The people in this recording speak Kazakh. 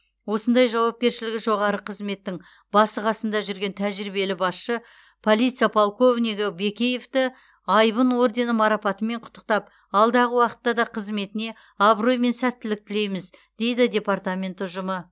осындай жауапкершілігі жоғары қызметтің басы қасында жүрген тәжірибелі басшы полиция полковнигі бекеевті айбын ордені марапатымен құттықтап алдағы уақытта да қызметіне абырой мен сәттілік тілейміз дейді департамент ұжымы